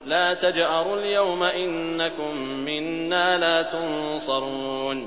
لَا تَجْأَرُوا الْيَوْمَ ۖ إِنَّكُم مِّنَّا لَا تُنصَرُونَ